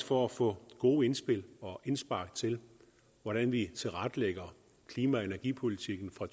for at få gode indspil og indspark til hvordan vi tilrettelægger klima og energipolitikken fra